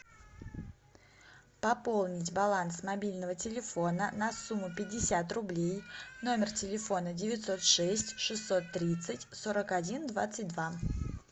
пополнить баланс мобильного телефона на сумму пятьдесят рублей номер телефона девятьсот шесть шестьсот тридцать сорок один двадцать два